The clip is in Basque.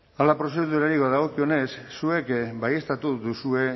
hala prozedurari badagokionez zuek baieztatu duzue